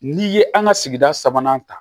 N'i ye an ka sigida sabanan ta